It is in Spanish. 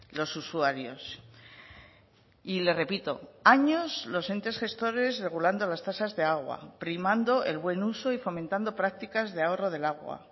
los usuarios y le repito años los entes gestores regulando las tasas de agua primando el buen uso y fomentando prácticas de ahorro del agua